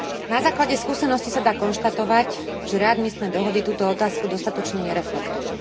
Na základe skúseností sa dá konštatovať, že readmisné dohody túto otázku dostatočne nereflektujú.